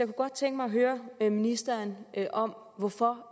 godt tænke mig at høre ministeren om hvorfor